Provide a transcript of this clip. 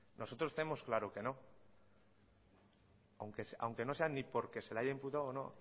nosotros tenemos claro que no aunque no sea ni porque se le haya imputado o no